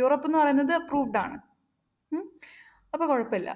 Europe എന്ന് പറയുന്നത് approved ആണ്. ഉം അപ്പൊ കുഴപ്പമില്ല.